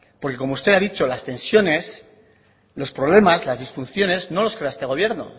porque como usted ha dicho las tensiones los problemas las disfunciones no los crea este gobierno